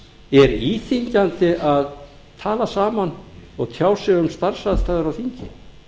er íþyngjandi að tala saman og tjá sig um starfsaðstæður á þingi